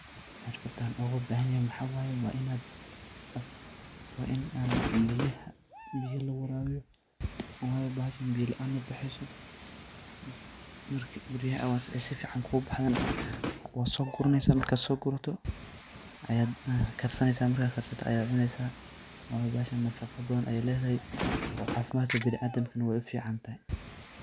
Xirfadan oga bahanyahay maxa weye waa in an bixiyaha biya logu warabiyo wayo bahashan biya laan mabaheso marki biyaha warabiso oo si ficana kugu baxdana wan so guranesa , markad so gurato waad kar sanesa markad karsato ayad cunesa waayo bahasha nafaqo badan ayey ledahay oo cafimadka biniadamkana wey u fican tahay.